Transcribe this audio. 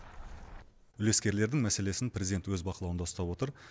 үлескерлердің мәселесін президент өз бақылауында ұстап отыр